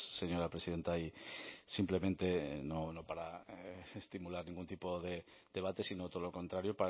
señora presidenta y simplemente no para estimular ningún tipo de debate sino todo lo contrario